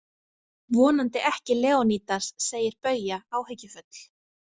Vonandi ekki Leonídas, segir Bauja áhyggjufull.